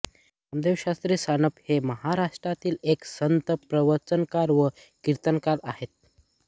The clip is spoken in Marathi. नामदेवशास्त्री सानप हे महाराष्ट्रातील एक संत प्रवचनकार व कीर्तनकार आहेत